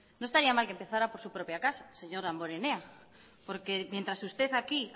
no estaría mal que empezará por su propia casa señor damborenea porque mientras usted aquí